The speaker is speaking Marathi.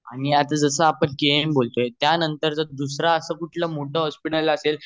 आनि जस आपण केम बोल लो त्यानंतर दुसरा अस कोनात मोठ अस हॉस्पिटल असेल